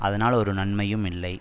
அதனால் ஒரு நன்மையும் இல்லை